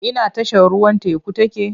Ina tashar ruwan teku take?